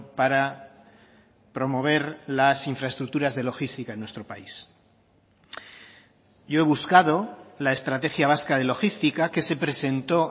para promover las infraestructuras de logística en nuestro país yo he buscado la estrategia vasca de logística que se presentó